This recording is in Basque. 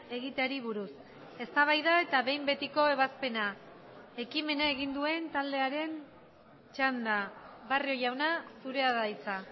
egiteari buruz eztabaida eta behin betiko ebazpena ekimena egin duen taldearen txanda barrio jauna zurea da hitza